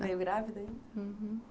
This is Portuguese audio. Veio grávida, hein?